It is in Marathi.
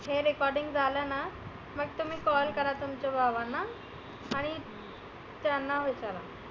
हे recording झालं ना मग तुम्ही call करा तुमच्या भावांना आणि त्यांना विचारा.